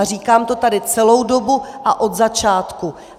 A říkám to tady celou dobu a od začátku.